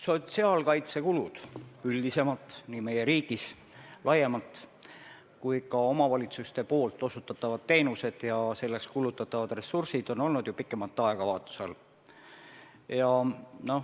Sotsiaalkaitsekulud üldisemalt, nii meie riigis laiemalt kui ka omavalitsuste osutatavad teenused ja selleks kulutatavad ressursid, on olnud ju pikemat aega vaatluse all.